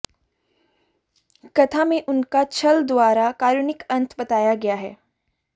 कथा में उनका छल द्वारा कारुणिक अंत बताया गया है